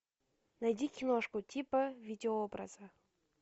найди киношку типа видеообраза